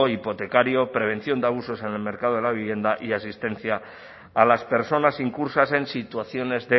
hipotecario prevención de abusos en el mercado de la vivienda y asistencia a las personas incursas en situaciones